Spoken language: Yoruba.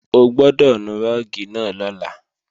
O gbọ́dọ̀ nu rúùgì náà lọ́la